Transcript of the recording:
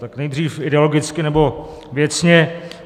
Tak nejdřív ideologicky nebo věcně.